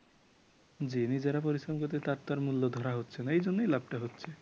জি নিজেরা পরিশ্রম করে তার তো আর মূল্য ধরা হচ্ছে না এজন্যই লাভটা হচ্ছে ।